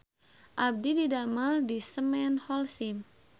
Abdi didamel di Semen Holcim